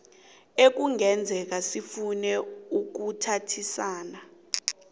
ekungenzeka sifune ukuthintana